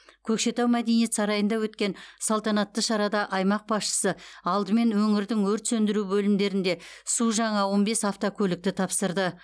көкшетау мәдениет сарайында өткен салтанатты шарада аймақ басшысы алдымен өңірдің өрт сөндіру бөлімдерінде су жаңа он бес автокөлікті тапсырды